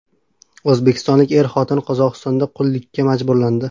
O‘zbekistonlik er-xotin Qozog‘istonda qullikka majburlandi .